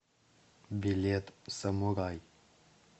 билет самурай